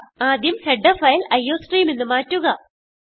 ആദ്യം header file ൾട്ടിയോസ്ട്രീംഗ്ട് എന്ന് മാറ്റുക